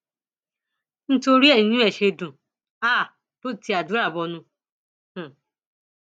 nítorí ẹ ní inú ẹ ṣe dùn um tó ti àdúrà bọnu um